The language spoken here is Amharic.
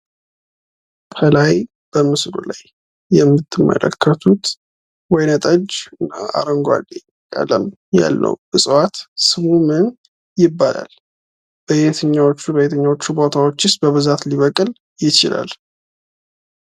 ከላይ በምስሉ ላይ የምትመለከቱት ደግሞ ወይነ ጠጅና አረንጓዴ ቀለም ያለው እፅዋት ስሙ ምን ይባላል ?በየትኞቹ በየትኞቹ ቦታዎችስ ሊበቅል ይችላል?